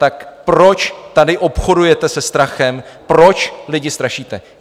Tak proč tady obchodujete se strachem, proč lidi strašíte?